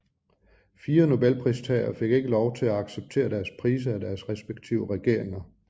Fire Nobelprismodtagere fik ikke lov til at acceptere deres priser af deres respektive regeringer